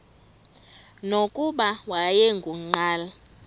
nokuba wayengu nqal